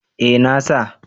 Eh na sa